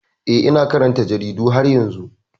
Eh, ina karanta jaridu har yanzu.